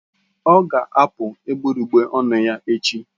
Ọ ga-apu egbugbere ọnụ ya echi.